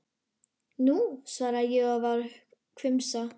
Nú, svaraði ég og var hvumsa.